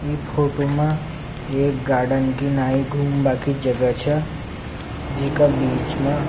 ई फोटो मा एक गार्डन की नई घुमबा की जगह छ जीका बीच मा --